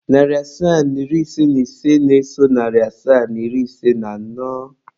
Narị asaa na iri ise na ise na-eso narị asaa na iri ise na anọ.